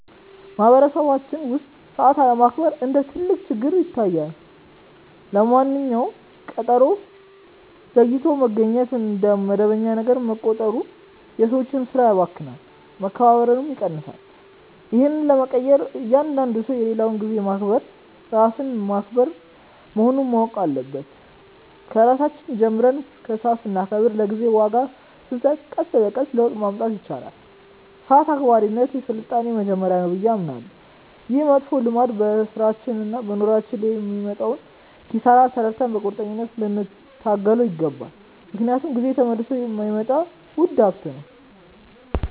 በማኅበረሰባችን ውስጥ ሰዓት አለማክበር እንደ ትልቅ ችግር ይታየኛል። ለማንኛውም ቀጠሮ ዘግይቶ መገኘት እንደ መደበኛ ነገር መቆጠሩ የሰዎችን ሥራ ያባክናል፣ መከባበርንም ይቀንሳል። ይህን ለመቀየር እያንዳንዱ ሰው የሌላውን ጊዜ ማክበር ራስን ማክበር መሆኑን ማወቅ አለበት። ከራሳችን ጀምረን ሰዓት ስናከብርና ለጊዜ ዋጋ ስንሰጥ ቀስ በቀስ ለውጥ ማምጣት ይቻላል። ሰዓት አክባሪነት የሥልጣኔ መጀመሪያ ነው ብዬ አምናለሁ። ይህ መጥፎ ልማድ በሥራችንና በኑሯችን ላይ የሚያመጣውን ኪሳራ ተረድተን በቁርጠኝነት ልንታገለው ይገባል፤ ምክንያቱም ጊዜ ተመልሶ የማይመጣ ውድ ሀብት ነው።